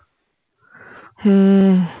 হম